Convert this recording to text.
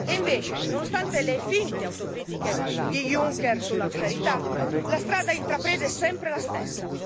Invece, nonostante le finte autocritiche di Junker sull'austerità, la strada intrapresa è sempre la stessa.